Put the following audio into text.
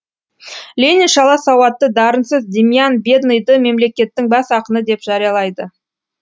ленин шала сауатты дарынсыз демьян бедныйды мемлекеттің бас ақыны деп жариялайды